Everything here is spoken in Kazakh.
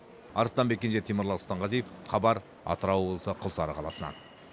арыстанбек кенже темірлан сұлтанғазиев хабар атырау облысы құлсары қаласынан